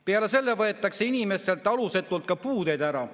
Peale selle võetakse inimestelt alusetult ka puudeid ära.